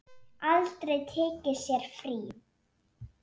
Aldrei tekið sér frí.